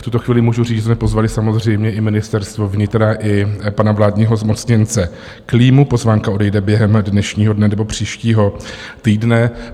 V tuto chvíli můžu říct, že jsme pozvali samozřejmě i Ministerstvo vnitra i pana vládního zmocněnce Klímu, pozvánka odejde během dnešního dne nebo příštího týdne.